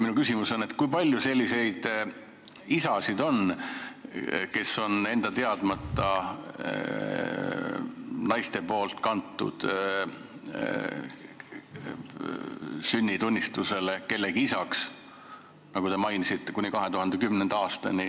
Minu küsimus on, kui palju on selliseid mehi, kelle on naised nende enda teadmata kandnud sünnitunnistusele kellegi isana, nagu te mainisite, kuni 2010. aastani.